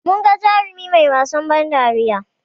Munga jarumi mai wasan ban dariya